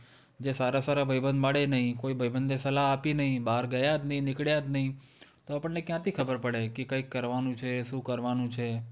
જે સારા-સારા ભાઈબંધ મળે નહીં, કોઈ ભાઈબંધે સલાહ આપી નહીં, બહાર ગયા જ નહીં, નીકળ્યા જ નહીં તો આપણને ક્યાંથી ખબર પડે? કે કંઈક કરવાનું છે, શું કરવાનું છે?